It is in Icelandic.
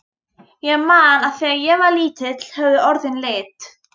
Ég man að þegar ég var lítill höfðu orðin lit.